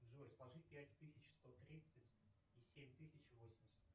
джой сложи пять тысяч сто тридцать и семь тысяч восемьдесят